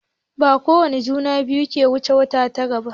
Bakowane juna biyu ke wuce wata tara ba.